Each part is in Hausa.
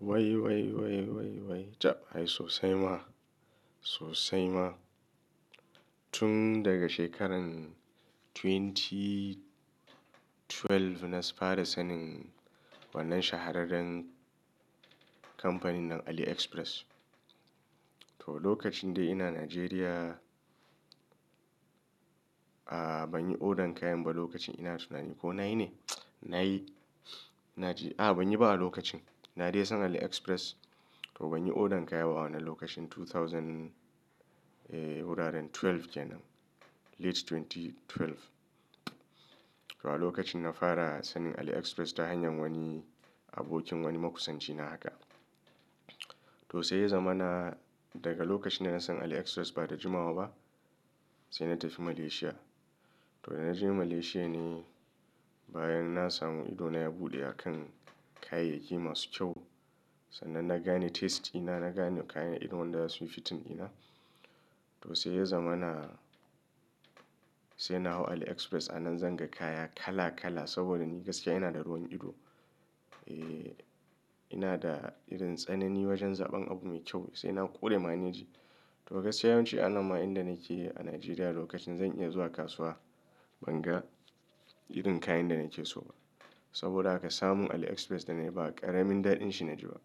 Wai wai wai caɓ ai sosai ma, sosai ma. Tun daga shekaran 2012 na fara sanin wannan shahararren kamfanin nan AliExpress. To lokacin dai ina Najeriya, ah banyi order kayan ba lokacin ina tuna ni ko na yi ne? Na yi. Ina ji, ah banyi ba a lokacin. Na dai san AliExpress, to banyi order kayan ba a wannan lokacin 2000 wuraren 12 kenan, late 2012. To a lokacin na fara sanin AliExpress ta hanyar wani abokin wani makusanci na haka. To sai ya zamana, daga lokacin da na san AliExpress ba da jimawa ba, sai na tafi Malaysia. To da na je Malaysia ne, bayan na samu ido na ya buɗe a kan kayayyaki masu kyau. Sannan na gane taste ina, na gane kayan irin wanda zasu yi fitting ɗina, to sai ya zama na, sai na hau AliExpress a nan zan ga kaya kala kala saboda ni gaskiya ina da ruwan ido. Eh, ina da irin tsanani wajen zaɓen abu mai kyau, sai na ƙure maneji. To gaskiya yawanci a nan ma inda nake a Najeriya lokacin zan iya zuwa kasuwa ban ga irin kayan da nake so ba. Saboda haka samun AliExpress da na yi ba ƙaramin daɗin shi na ji ba.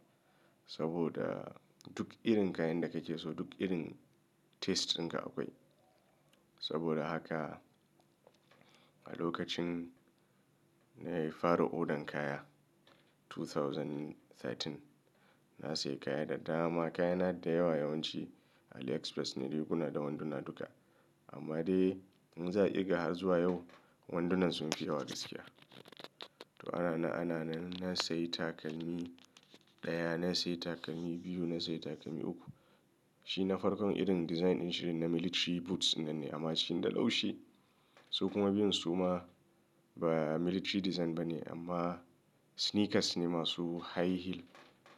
Saboda, duk irin kayan da kake so duk irin taste ɗinka akwai. Saboda haka, a lokacin nayi fara order kayan 2013, na siya kaya da dama, kayana da yawa yawanci, AliExpress ne riguna da wanduna duka. Amma dai, in za'a irga har zuwa yau, wandunan sun fi yawa gaskiya. To ana nan, ana nan, na sayi takalmi ɗaya, na sayi takalmi biyu, na sayi takalmi uku. Shi na farkon irin design ɗin shine na military boots ɗinnan ne amma cikin da laushi. Su kuma biyun su ma ba military design bane, amma sneakers ne masu high heel.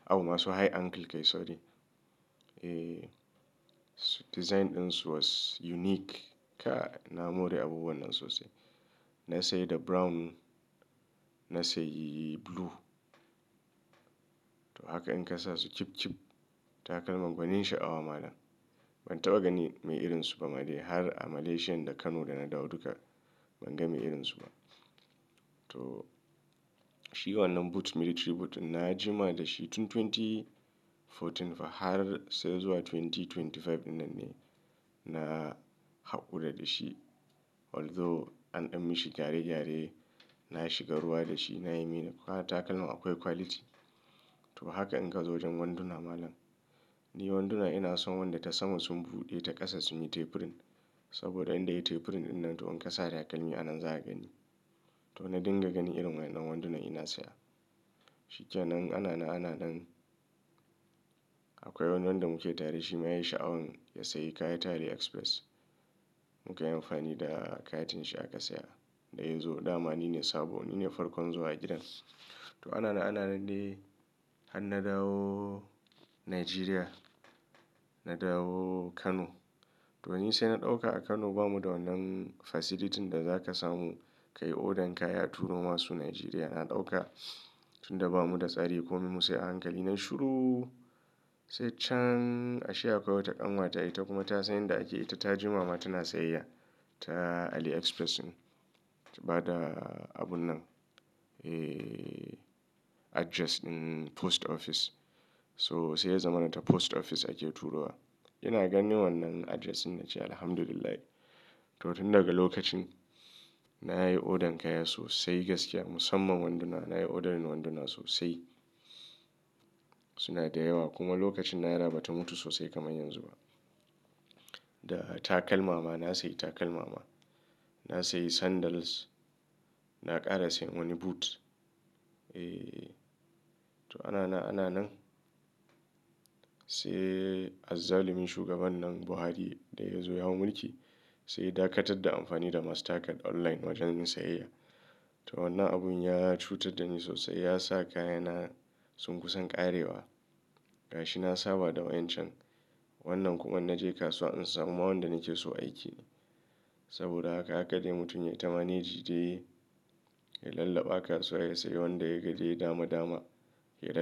Abun masu high ankle kai sorry. Eh, design ɗinsu was unique. Kai, na more abubuwan nan sosai. Na sayi da brown, na sayi blue. To haka in ka sa su chip chip, takalman gwanin sha'awa malam. Ban taɓa ganin mai irinsu ba ma dai har a Malaysian da Kano da na dawo duka, ban ga mai irinsu ba. To shi wannan boot, military boot ɗin na jima da shi tun 2014 fa har sai zuwa 2025 ɗinnan ne, na haƙura da shi. Although an ɗan mishi gyare-gyare. Na shiga ruwa da shi na yi min-- takalman akwai quality. To haka in ka zo wajen wanduna malam, ni wanduna ina son wanda ta sama sun buɗe ta ƙasa sun yi tapering. Saboda inda yayi tapering ɗinnan to in ka sa takalmi a nan za ka gani. To na dinga gani irin wa'innan wandunan ina saya. Shi kenan, ana nan, ana nan, akwai wani wanda muke tare shi ma yayi sha'awan ya sayi kaya ta AliExpress. Muka yi amfani da katin shi aka saya, da ya zo, dama nine sabo nine farkon zuwa gidan. To ana nan, ana nan dai, har na dawo Najeriya na dawo Kano, to ni sai na ɗauka a Kano bamu da wannan facility ɗin da za ka samu ka yi order kaya a turo masu Najeriya. Na ɗauka, tunda ba mu da tsari ko me mu sai a hankali. Nai shuru, sai can, ashe akwai wata ƙanwata ita kuma ta san yanda ake, ita ta ji ma ma tana sayayya ta AliExpress. Ta ba da abun nan, eh address ɗin post office. To sai ya zamana ta post office ake turo wa. Ina ganin wannan address ɗin na ce alhamdulillahi, to tun daga lokacin, nayi order kaya sosai gaskiya, musamman wanduna nayi ordering wanduna sosai. Suna da yawa, kuma lokacin naira bata mutu sosai kamar yanzu ba. Da takalma ma na sayi takalma ma. Na sayi sandals, na ƙara sayan wani boot. Eh, to ana nan, ana nan, sai azzalumin shugaban nan Buhari, da ya zo ya hau mulki sai ya dakatar da amfani da mastercard online wajen yin sayayya. To wannan abun ya cutar da ni sosai, ya sa kayana sun kusan ƙarewa. Gashi na saba da wa'incan. Wannan kuma in na je kasuwa in samu ma wanda nake so aiki ne. Saboda haka, haka, dai mutum ya yi ta mane ji dai, yayi ya lallaɓa kasuwa ya sayi wanda ya ga dai dama-dama, ya ra--